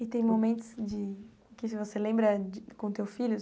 E tem momentos de que você lembra com o teu filho?